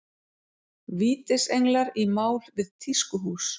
Vítisenglar í mál við tískuhús